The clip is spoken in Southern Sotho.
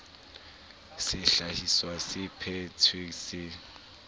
sehlahiswa se phe thetsweng se